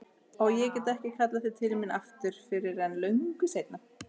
Og ég get ekki kallað þau til mín aftur fyrr en löngu seinna.